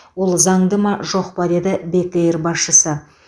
ол заңды ма жоқ па деді бек эйр басшысы